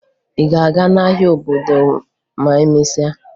Ị ga-aga n'ahịa obodo ma emesịa?